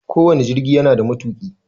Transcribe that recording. Ko wane jirgi yana da matuƙi.